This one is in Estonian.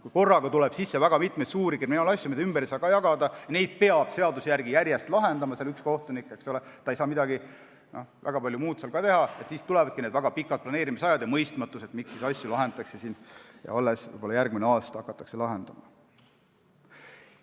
Kui korraga tuleb sisse väga mitmeid suuri kriminaalasju, mida ei saa ka ümber jagada, mida peab seaduse järgi järjest lahendama üks kohtunik ja ta ei saa väga palju midagi muud teha, siis tulevad väga pikad planeerimised ja tekib mõistmatus, miks neid asju alles võib-olla järgmine aasta lahendama hakatakse.